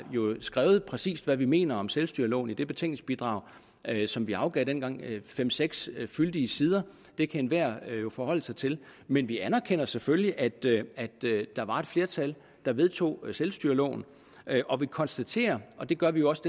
skrevet præcis hvad vi mener om selvstyreloven i det betænkningsbidrag som vi afgav dengang det er fem seks fyldige sider og det kan enhver forholde sig til men vi anerkender selvfølgelig at der var et flertal der vedtog selvstyreloven og vi konstaterer og det gør vi jo også